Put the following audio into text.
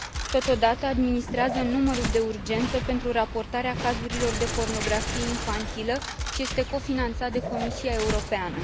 Totodată, administrează numărul de urgență pentru raportarea cazurile de pornografie infantilă și este cofinanțat de Comisia Europeană.